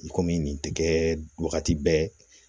I komi nin tɛ kɛ wagati bɛɛ